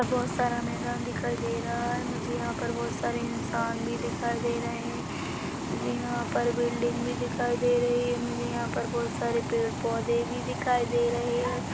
बहुत सारा मैदान दिखाई दे रहा है मुझे यहाँ पर बहुत सारे इंसान भी दिखाई दे रहे है जी हा पर बिल्डिंग भी दिखाई दे रही है मुझे यह पर बहुत सारे पेड़-पौधे भी दिखाई दे रहे है।